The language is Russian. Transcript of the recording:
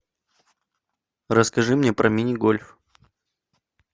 расскажи мне про мини гольф